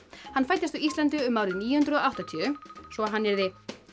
hann fæddist á Íslandi um árið níu hundruð og áttatíu svo hann yrðir